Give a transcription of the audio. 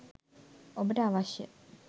ඔබට අවශ්‍ය